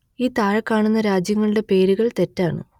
ഈ താഴെ കാണുന്ന രാജ്യങ്ങളുടെ പേരുകൾ തെറ്റാണ്